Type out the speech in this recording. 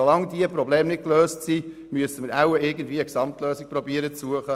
Solange diese Probleme nicht gelöst sind, müssen wir wohl versuchen, irgendeine Gesamtlösung zu suchen.